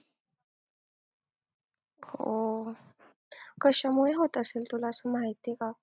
हो. कशामुळे होत असेल तुला असं माहिती आहे का?